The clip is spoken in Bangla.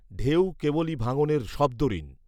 ঢেউ কেবলি ভাঙনের শব্দঋণ